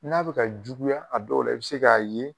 N'a bɛ ka juguya a dɔw la i bɛ se k'a ye